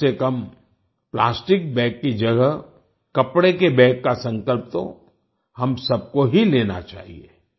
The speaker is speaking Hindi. कमसेकम प्लास्टिक के बैग की जगह कपड़े के बैग का संकल्प तो हम सबको ही लेना चाहिए